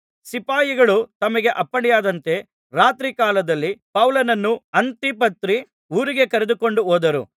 ಸಿಪಾಯಿಗಳು ತಮಗೆ ಅಪ್ಪಣೆಯಾದಂತೆ ರಾತ್ರಿಕಾಲದಲ್ಲಿ ಪೌಲನನ್ನು ಅಂತಿಪತ್ರಿ ಊರಿಗೆ ಕರೆದುಕೊಂಡು ಹೋದರು